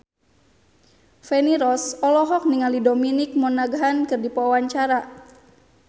Feni Rose olohok ningali Dominic Monaghan keur diwawancara